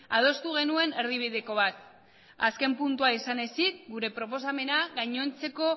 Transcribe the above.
adostu genuen erdibideko bat azken puntua izan ezik gure proposamena gainontzeko